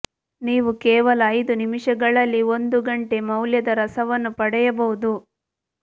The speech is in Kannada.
ನೀವು ಕೇವಲ ಐದು ನಿಮಿಷಗಳಲ್ಲಿ ಒಂದು ಗಂಟೆ ಮೌಲ್ಯದ ರಸವನ್ನು ಪಡೆಯಬಹುದು